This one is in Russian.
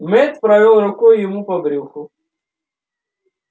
мэтт провёл рукой ему по брюху